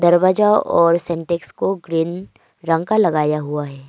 दरवाजा और सिंटेक्स को ग्रीन रंग का लगाया हुआ है।